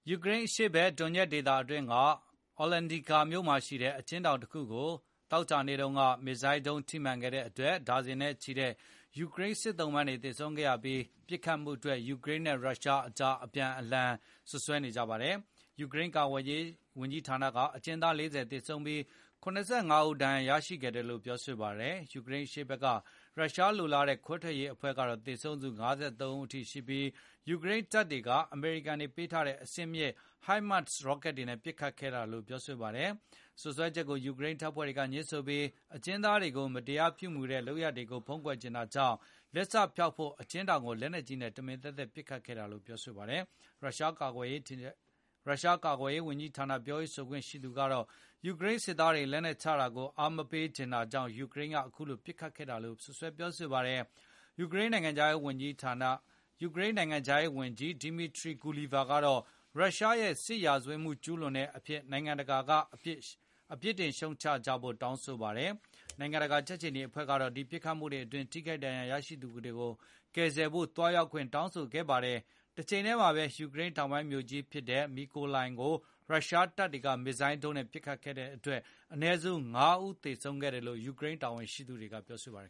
ယူကရိန်းအရှေ့ဖက် ဒွန်ညက် ဒေသတွင်းက Olenivka မြိုမှာရှိတဲ့ အကျဉ်းထောင်တခုကို သောကြာနေ့က မစ်ဇိုင်းဒုန်း ထိမှန်ခဲ့တဲ့အတွက် ဒါဇင်နဲ့ချီတဲ့ ယူကရိန်း စစ်သုံ့ပန်းတွေ သေဆုံးခဲ့ရပြီး၊ ပစ်ခတ်မှုအတွက် ယူကရိန်းနဲ့ရုရှားတို့ အပြန်အလှန်စွပ်စွဲကြပါတယ်။ ရုရှားကာကွယ်ရေးဝန်ကြီးဌာနက အကျဉ်းသား ၄၀ သေဆုံးပြီး၊ ၇၅ ဦးဒဏ်ရာရခဲ့တယ် လို့ပြောဆိုပါတယ်။ ယူကရိန်း အရှေ့ဖက်က ရုရှားလိုလားတဲ့ ခွဲထွက်ရေးအဖွဲ့ကတော့ သေဆုံးသူ ၅၃ ဦး အထိရှိပြီး၊ ယူကရိန်းတပ်တွေက အမေရိကန်တွေပေးထားတဲ့ အဆင့်မြင့် HIMARS ရော့ကတ်တွေနဲ့ ပစ်ခတ်ခဲ့တာလို့ ပြောပါတယ်။ စွပ်စွဲချက်ကို ယူကရိန်းတပ်ဖွဲ့တွေက ငြင်းဆိုပြီး၊ အကျဉ်းသားတွေကို မတရားပြုမူတဲ့ လုပ်ရပ်တွေကို ဖုံးကွယ်ချင်တာကြောင့် လက်စဖျောက်ဖို့ အကျဉ်းထောင်ကို လက်နက်ကြီးနဲ့ တမင် ပစ်ခတ်ခဲ့တာလို့ ပြောပါတယ်။ ရုရှားကာကွယ်ရေးဝန်ကြီးဌာန ပြောရေးဆိုခွင့်ရှိသူကတော့ ယူကရိန်းစစ်သားတွေ လက်နက်ချတာကို အားမပေးချင်တာကြောင့် ယူကရိန်းက အခုလိုပစ်ခတ်ခဲ့ တာလို့ စွပ်စွဲပါတယ်။ ယူကရိန်းနိုင်ငံခြားရေးဝန်ကြီး Dmytro Kuleba ကတော့ ရုရှားရဲ့ စစ်ရာဇဝတ်မှု ကျုးလွန်မှုအဖြစ် နိုင်ငံတကာက ပြစ်တင်ရှုတ်ချကြဖို့ တောင်းဆိုလိုက်ပါတယ်။ နိုင်ငံတကာကြက်ခြေနီအဖွဲ့ကတော့ ဒီပစ်ခတ်မှုအတွင်း ထိခိုက်ဒဏ်ရာရသူတွေကို ကယ်ဆယ်ဖို့ သွားရောက်ခွင့် တောင်းခံခဲ့ပါတယ်။ တချိန်ထဲမှာပဲ ယူကရိန်းတောင်ပိုင်းမြို့ကြီးဖြစ်တဲ့ Mykolaiv ကို ရုရှားတပ်တွေက မစ်ဇိုင်း ဒုံးတွေနဲ့ ပစ်ခတ်ခဲ့တဲ့အတွက် အနည်းဆုံးလူ ၅ ဦးသေဆုံးခဲ့တယ်လို့ ယူကရိန်းတာဝန်ရှိ သူတွေကပြောဆိုပါတယ်